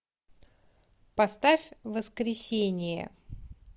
поставь воскресение